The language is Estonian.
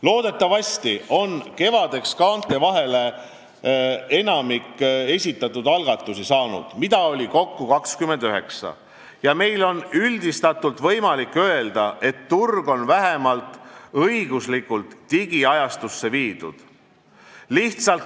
Loodetavasti on kevadeks kaante vahele saanud enamik esitatud algatusi – neid oli kokku 29 – ja meil on üldistatult võimalik öelda, et turg on vähemalt õiguslikult digiajastusse viidud.